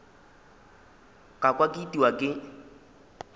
ka kwa ke itiwa ke